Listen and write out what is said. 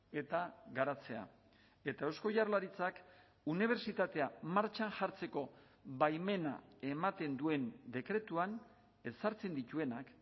eta garatzea eta eusko jaurlaritzak unibertsitatea martxan jartzeko baimena ematen duen dekretuan ezartzen dituenak